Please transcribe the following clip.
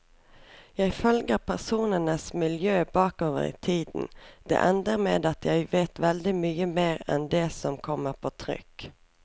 Jeg følger personenes miljø bakover i tiden, det ender med at jeg vet veldig mye mer enn det som kommer på trykk.